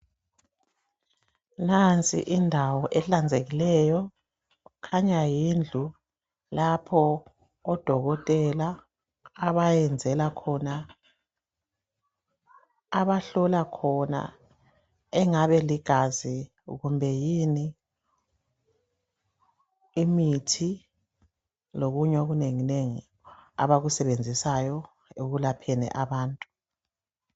Nansi indawo ehlanzekileyo. Kukhanya yindlu lapho odokotela, abayenzela khona, abahlola khona ingabe ligazi, imithi kumbe yini okunenginengi, abakusebenzisayo, ekwelapheni abantu.